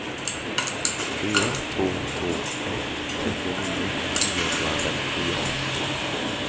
fyra två två ett trettionio niohundrafemtiofyra